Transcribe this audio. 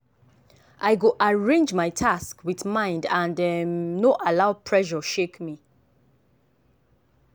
i go arrange my task with mind and um no allow pressure shake me.